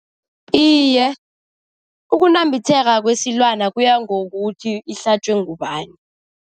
Iye, ukunambitheka kwesilwana kuya ngokuthi ihlatjwe ngubani.